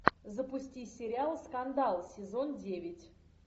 запусти сериал скандал сезон девять